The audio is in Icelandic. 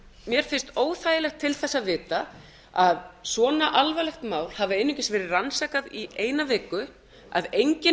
mér finnst óþægilegt til þess að vita að svona alvarlegt mál hafi einungis verið rannsakað í eina viku að enginn